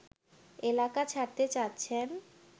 এলাকা ছাড়তে চাচ্ছেন